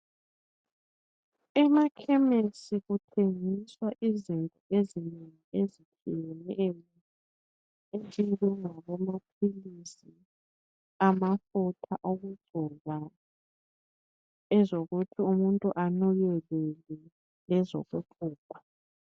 Emakhemisi kuthengiswa izinto ezinengi ezitshiyeneyo ezifana lamaphilisi, amafutha okugcoba, ezokuthi amafutha enukelele lezokuluka.